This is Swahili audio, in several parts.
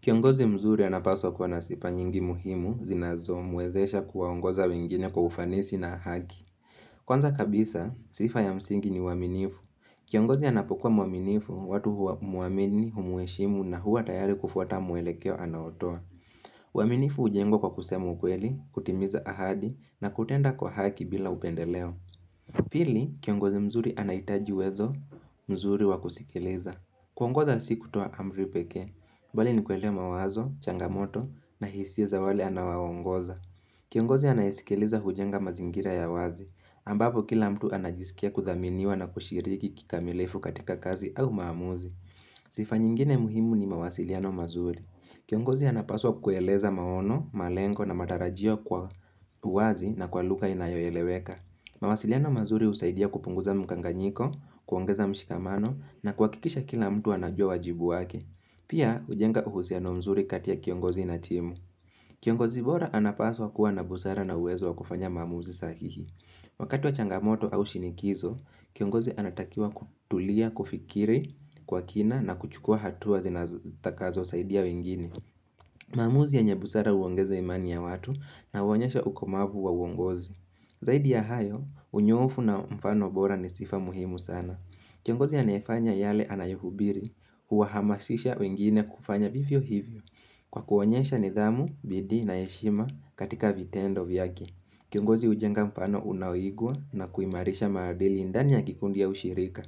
Kiongozi mzuri anapaswa kuwa na sifa nyingi muhimu, zinazomwezesha kuwaongoza wengine kwa ufanisi na haki. Kwanza kabisa, sifa ya msingi ni uaminifu. Kiongozi anapokuwa mwaminifu, watu humuamini, humheshimu na huwa tayari kufuata mwelekeo anaotoa. Uaminifu hujengwa kwa kusema ukweli, kutimiza ahadi na kutenda kwa haki bila upendeleo. Pili, kiongozi mzuri anahitaji uwezo mzuri wa kusikiliza. Kuongoza si kutoa amri pekee, bali ni kuelewa mawazo, changamoto na hisia za wale anawaongoza. Kiongozi anayesikiliza hujenga mazingira ya wazi, ambapo kila mtu anajisikia kuthaminiwa na kushiriki kikamilifu katika kazi au maamuzi. Sifa nyingine muhimu ni mawasiliano mazuri. Kiongozi anapaswa kueleza maono, malengo na matarajio kwa uwazi na kwa lugha inayoeleweka. Mawasiliano mazuri husaidia kupunguza mkanganyiko, kuongeza mshikamano na kuhakikisha kila mtu anajua wajibu wake. Pia hujenga uhusiano mzuri kati ya kiongozi na timu Kiongozi bora anapaswa kuwa na busara na uwezo wa kufanya maamuzi sahihi Wakati wa changamoto au shinikizo, kiongozi anatakiwa kutulia, kufikiri, kwa kina na kuchukua hatua zitakazosaidia wengine maamuzi yenye busara huongeza imani ya watu na huonyesha ukomavu wa uongozi Zaidi ya hayo, unyoofu na mfano bora ni sifa muhimu sana. Kiongozi anayefanya yale anayohubiri, huwahamasisha wengine kufanya vivyo hivyo. Kwa kuonyesha nidhamu, bidii na heshima katika vitendo vyake. Kiongozi hujenga mfano unaoigwa na kuimarisha maadili ndani ya kikundi au shirika.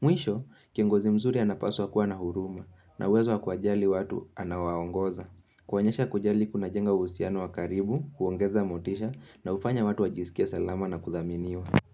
Mwisho, kiongozi mzuri anapaswa kuwa na huruma na uwezo wa kuwajali watu anawaongoza. Kuonyesha kujali kuna jenga uhusiano wa karibu, kuongeza motisha na hufanya watu wajisikie salama na kuthaminiwa.